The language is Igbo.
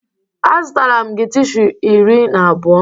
Azụtara m gị tishu iri na abụọ.